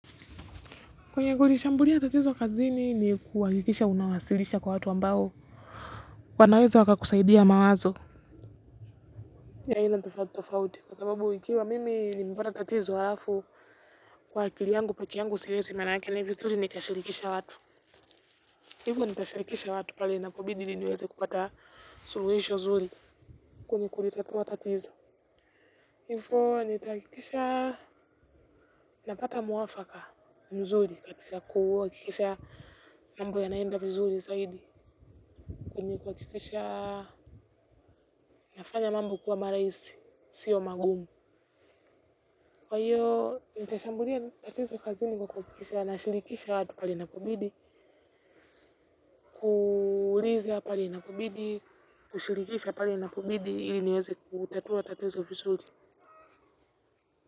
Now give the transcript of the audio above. Kwenye kulishambulia tatizo kazini ni kuhakikisha unawasilisha kwa watu ambao wanaweza wakakusaidia mawazo ya aina tofauti kwa sababu ikiwa mimi nimepata tatizo alafu kwa akili yangu peke yangu siwezi maana yake ni vizuri nikishirikisha watu. Hivo nitashirikisha watu pahali inapobidi niweze kupata suluhisho nzuri kulitatuwa tatizo. Hivyo, nitahakikisha, napata mwafaka mzuri katika kuhakikisha mambo yanaenda vizuri zaidi kwenye kuwakikisha nafanya mambo kuwa rahisi, sio magumu. Kwa hiyo, nitashambulia tatizo kazini kuhakikisha nashirikisha watu pahali inakubidi, kuuliza pahali inakubidi, kushirikisha pahali inakubidi ili niweze kutatua tatizo vizuri.